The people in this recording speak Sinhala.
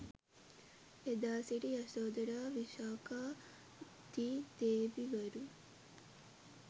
එදා සිටි යසෝදරා, විශාඛා දී දේවිවරු